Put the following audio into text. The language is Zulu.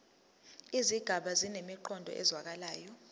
izigaba zinemiqondo ezwakalayo